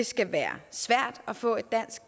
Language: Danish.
skal være svært at få et dansk